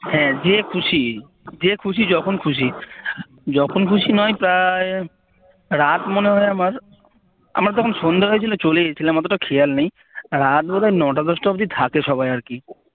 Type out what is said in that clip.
হ্যাঁ যে খুশি যে খুশি যখন খুশি যখন খুশি নয় প্রায় রাত মনে হয় আমার আমরা যখন সন্ধ্যে হয়েছিল চলে গেছিলাম অতটা খেয়াল নেই রাত মনেহয় নটা দশটা অব্দি থাকে সবাই আরকি